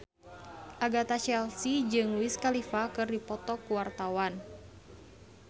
Agatha Chelsea jeung Wiz Khalifa keur dipoto ku wartawan